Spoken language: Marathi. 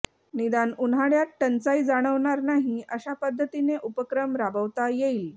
निदान उन्हाळय़ात टंचाई जाणवणार नाही अशा पद्धतीने उपक्रम राबवता येईल